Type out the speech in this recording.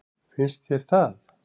Finnst þér það?